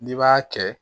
N'i b'a kɛ